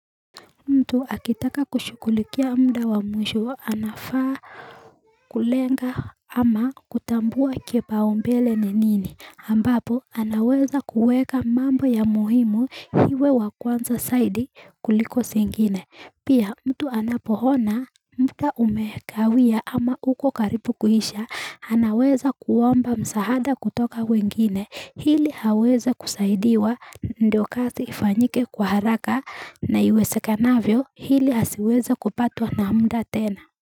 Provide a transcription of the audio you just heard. Mtu akitaka kushughulikia muda wa mwisho anafaa Kulenga ama kutambua kipaumbele ni nini ambapo anaweza kuweka mambo ya muhimu iwe ya kwanza zaidi kuliko zingine pia mtu anapoona muda umekawia ama uko karibu kuisha anaweza kuomba msaada kutoka wengine ili aweze kusaidiwa ndio kazi ifanyike kwa haraka na iwezekanavyo ili asiweze kupatwa na muda tena.